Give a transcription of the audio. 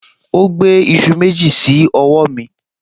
O gbé iṣu méjì sí ọwọ́ mi